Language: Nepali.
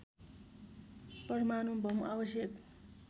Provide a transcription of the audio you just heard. परमाणु बम आवश्यक